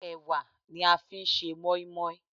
Ẹ̀wà ni a fi ń ṣe mọ́ínmọ́ín.